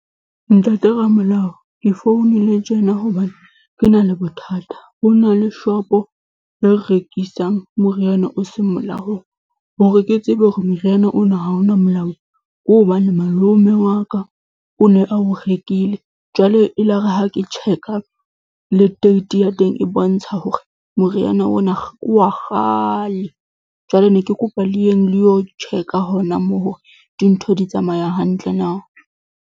Ntate ramolao, ke founile tjena hobane ke na le bothata. Ho na le shop-o e rekisang moriana o seng molaong. Hore ke tsebe hore moriana ona ha o na molao ke hobane malome wa ka o ne a o rekile jwale elare ha ke check-a le date ya teng e bontsha hore moriana ona ke wa kgale, jwale ne ke kopa le yeng le yo check-a hona moo hore dintho di tsamaya hantle na.